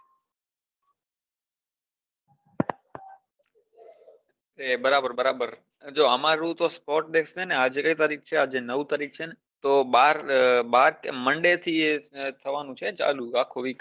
બરાબર બરાબર જો અમારું તો sports day છે ને આજ કઈ તારીક છે અજે નવ તારીક છે ને તો બાર બાર monday થી એ થવાનું છે આખું week